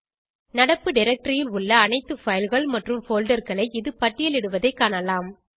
நடப்பு டைரக்டரி ல் உள்ள அனைத்து fileகள் மற்றும் folderகளை இது பட்டியலிடுவதைக் காணலாம்